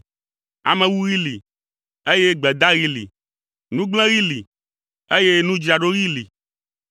Amewuɣi li, eye gbedaɣi li. Nugblẽɣi li, eye nudzraɖoɣi li.